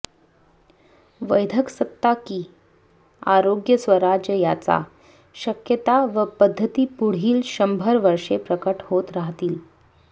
वैद्यकसत्ता की आरोग्यस्वराज्य याच्या शक्यता व पद्धती पुढील शंभर वर्षे प्रकट होत राहतील